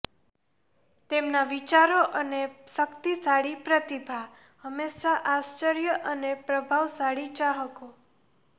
તેમના વિચારો અને શક્તિશાળી પ્રતિભા હંમેશા આશ્ચર્ય અને પ્રભાવશાળી ચાહકો